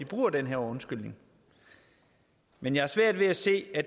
bruge den her undskyldning men jeg har svært ved at se at